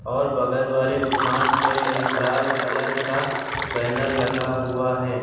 और बगल वाले दुकान पे एक लाल कलर का बैनर लगा हुआ है।